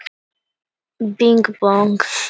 Kristófer, opnaðu dagatalið mitt.